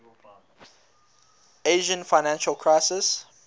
asian financial crisis